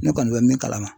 Ne kɔni bɛ min kalama